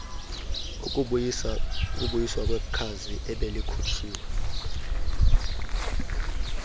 ukubuyiswa kwekhazi ebelikhutshiwe